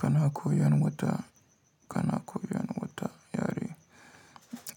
Kana koyan wata, kana koyan wata yare?